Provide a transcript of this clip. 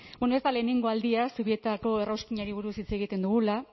bueno ez da lehenengo aldia zubietako errauskinari buruz hitz egiten dugula